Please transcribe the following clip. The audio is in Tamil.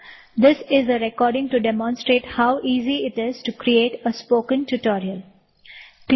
this is a demo recording to demonstrate how easy it is to create a spoken tutorial